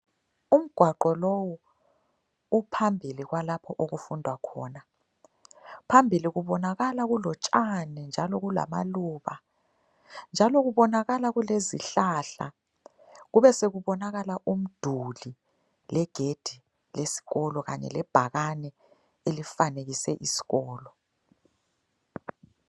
Umgwaqo lowu uphambili kwalapho okufundwa khona. Phambili kubonakala kulotshani njalo kulamaluba njalo kubonakala kulezihlahla kubesekubonakala umduli legedi lesikolo kanye lebhakane elifanekise isikolo.